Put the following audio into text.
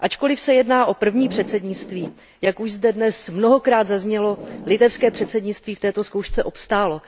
Ačkoliv se jedná o první předsednictví, jak už zde dnes mnohokrát zaznělo, litevské předsednictví v této zkoušce obstálo.